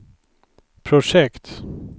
projekt